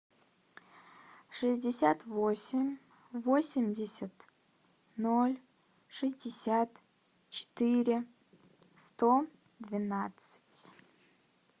шестьдесят восемь восемьдесят ноль шестьдесят четыре сто двенадцать